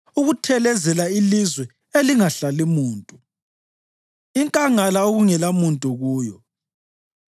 ukuthelezela ilizwe elingahlali muntu, inkangala okungelamuntu kuyo,